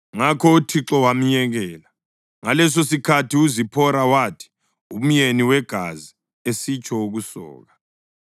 Ngakho uThixo wamyekela. (Ngalesosikhathi uZiphora wathi “umyeni wegazi,” esitsho ukusoka.)